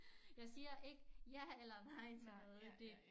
Jeg siger ikke ja eller nej til noget det